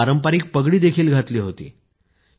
त्यांनी पारंपारिक पगडी देखील घातली होती